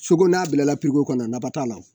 Sogo n'a bilala kɔnɔ nafa t'a la